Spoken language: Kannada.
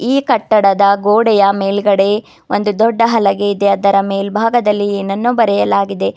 ಈ ಕಟ್ಟಡದ ಗೋಡೆಯ ಮೇಲ್ಗಡೆ ಒಂದು ದೊಡ್ಡ ಹಲಗೆ ಇದೆ ಅದರ ಮೆಲ್ಭಾಗದಲ್ಲಿ ಏನನ್ನೋ ಬರೆಯಲಾಗಿದೆ.